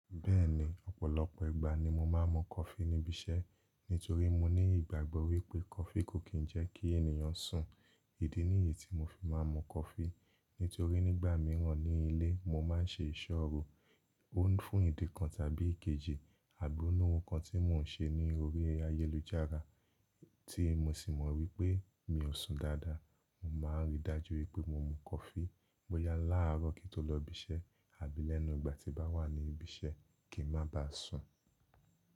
Bẹ́ẹ̀ni, ọ̀pọ̀lọpọ̀ ìgbà ni mo máa ń mu coffee níbi iṣẹ́, nítorí mo ní ìgbàgbọ́ wípé coffee kò kí ń jẹ́ kí ènìyàn sùn. Ìdí nìyí tí mo fi máa ń mu coffee, nítorí nígbà mìíràn ní ilé, mo máa ń ṣe ìṣòro, ó fún ìdí kan tàbí èkejì, àbi o ní ohun kan tí mò ń ṣe ní orí ayélujára tí mo sì mọ̀ wípé mi ò sùn dáadáa. Mo máa ń rí dájú wípé mo mu coffee bóyá láàárọ̀ kí n tó lọ ibiṣẹ́ àbí lẹ́nu ìgbà tí bá wà ní ibi iṣẹ́ kí ń má ba sùn.